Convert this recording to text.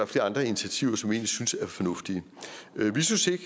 flere andre initiativer som vi synes er fornuftige vi synes ikke